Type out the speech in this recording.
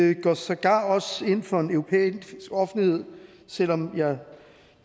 vi går sågar også ind for en europæisk offentlighed selv om jeg